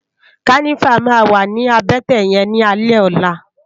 Kànivá mà wá ni àbètè yèn ni álè òlá